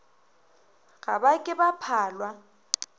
ga ba ke ba phalwa